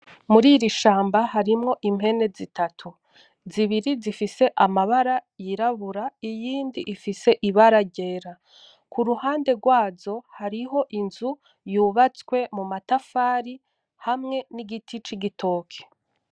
Muririshamba harimwo impene zitatu, zibiri zifise amabara yirabura iyindi ifise ibara ryera, kuruhande rwazo hariho inzu yubatswe mumatafari hamwe nigiti cigitoke .